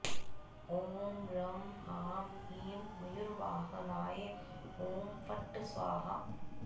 ॐ रं ह्रां ह्रीं मयूरवाहनाय हुं फट् स्वाहा